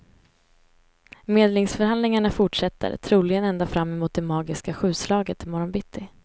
Medlingsförhandlingarna fortsätter, troligen ända fram emot det magiska sjuslaget i morgon bitti.